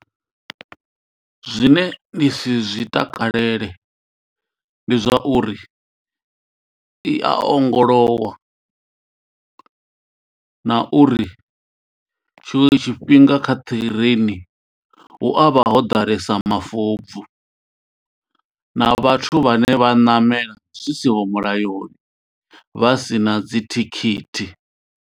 Zwine ndi si zwi takalele ndi zwa uri i a ongolowa na uri tshiṅwe tshifhinga kha ṱireni hu avha ho ḓalesa mafobvu na vhathu vhane vha ṋamela zwi siho mulayoni vha sina dzithikhithi.